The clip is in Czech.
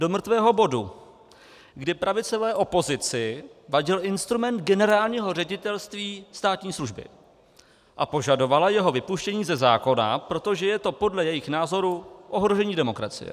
Do mrtvého bodu, kdy pravicové opozici vadil instrument Generálního ředitelství státní služby a požadovala jeho vypuštění ze zákona, protože je to podle jejích názorů ohrožení demokracie.